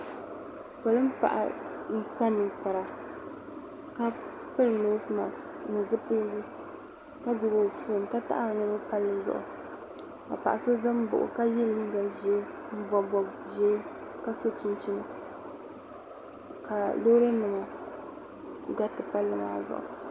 polin' paɣa n-kpa ninkpara ka piri noosi maski ni zupiligu ka gbubi o foon ka taɣiri niriba palli zuɣu ka paɣ' so za m-baɣi o ka ye liiga ʒee m-bɔbi bɔb' ʒee ka sɔ chinchini ka loori nima gariti palli maa zuɣu.